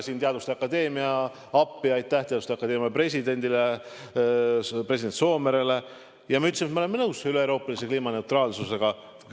Siin tuli ka teaduste akadeemia appi ja ma ütlesin, et me oleme nõus üleeuroopalise kliimaneutraalsusega.